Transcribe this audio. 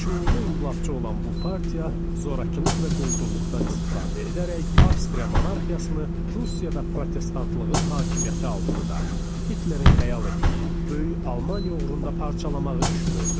Şüurlu inqilabçı olan bu partiya zorakılıq və quldurluqdan istifadə edərək Avstriya monarxiyasını Prussiya və protestantlığın hakimiyyəti altında Hitlerin xəyal etdiyi, böyük Almaniya uğrunda parçalamağı düşünürdü.